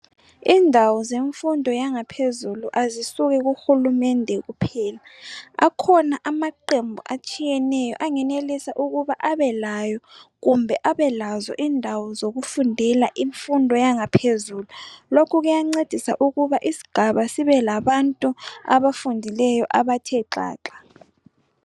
Indawo zemfundo yangaphezulu azisuki kuhulumende kuphela akhona amaqembu atshiyeneyo angenelisa ukuba abelayo kumbe abelazo indawo zokufundela imfundo yangaphezulu lokhu kuyancedisa ukuba isigaba sibelabantu abafundileyo abathe xaxa.